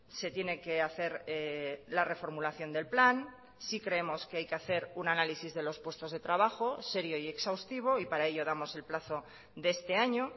se tiene que hacer la reformulación del plan sí creemos que hay que hacer un análisis de los puestos de trabajo serio y exhaustivo y para ello damos el plazo de este año